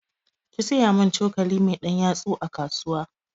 ki siyu mun cokali mai ɗan yatsu a kasuwa